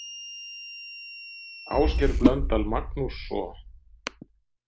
Ásgeir Blöndal Magnússo.